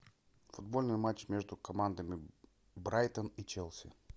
футбольный матч между командами брайтон и челси